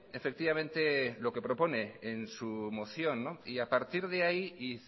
efectivamente lo que propone en su moción y a partir de ahí y